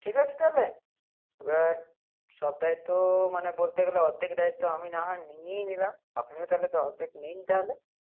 ঠিক আছে তাহলে, ও সব দায়িত্ব মানে বলতে গেলে অর্ধেক দায়িত্ব নিয়ে নিলাম আপনাকেও তাহলে অর্ধেক নিন তাহলে